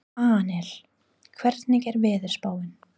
Annel, hvernig er veðurspáin?